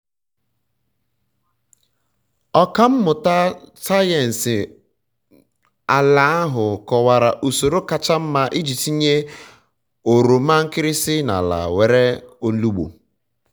ọka mmụta sayensị mmụta sayensị ala ahụ kọwara usoro kacha mma iji tinye oroma nkịrịsị na ala nwere ilugbu